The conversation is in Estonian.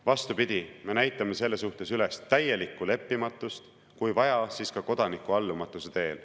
Vastupidi, me näitame selles suhtes üles täielikku leppimatust, kui vaja, siis ka kodanikuallumatuse teel.